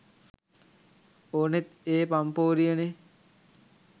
ඕනෙත් ඒ පම්පෝරිය නේ?